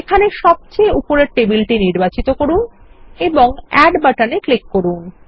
এখানে সবচেয়ে উপরের টেবিল নির্বাচন করুন এবং এড বাটনে ক্লিক করুন